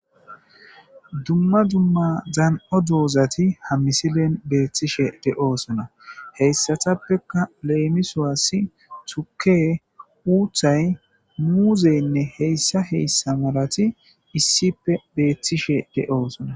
dumma dumma zaan7o doozati hammisilen beethtishe de7oosona heyssatappeka leemisoassi tuke uuthay muuzeynne heyssa heyssa malati issippe beethtishe de7oosona